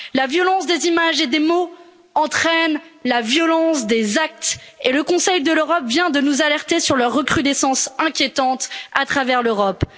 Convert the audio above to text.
La violence des images et des mots entraîne la violence des actes, et le Conseil de l'Europe vient de nous alerter sur leur recrudescence inquiétante à travers l'Europe.